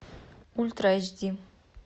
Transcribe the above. ультра эйч ди